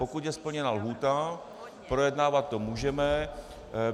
Pokud je splněna lhůta, projednávat to můžeme.